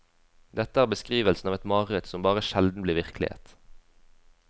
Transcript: Dette er beskrivelsen av et mareritt som bare sjelden blir virkelighet.